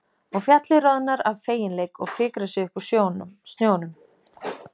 Og fjallið roðnar af feginleik og fikar sig upp úr snjónum.